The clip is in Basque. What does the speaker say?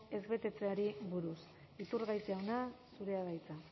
ezbetetzeei buruz iturgaiz jauna zurea da hitza